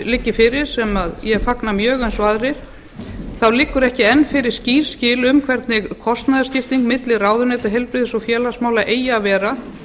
liggi fyrir sem ég fagna mjög eins og aðrir þá liggur ekki enn fyrir skýr skil um hvernig kostnaðaraukning milli ráðuneyta heilbrigðis og félagsmála eigi að vera